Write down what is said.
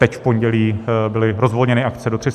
Teď v pondělí byly rozvolněny akce do 300 osob.